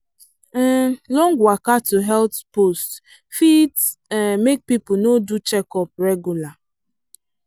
um long waka to health post fit um make people no do checkup regular.